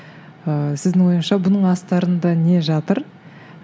ыыы сіздің ойыңызша бұның астарында не жатыр